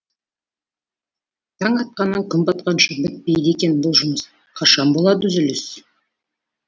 таң атқаннан күн батқанша бітпейді екен бұл жұмыс қашан болад үзіліс